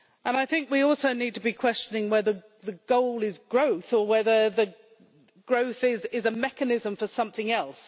I think we also need to be questioning whether the goal is growth or whether growth is a mechanism for something else.